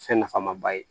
Fɛn nafama ba ye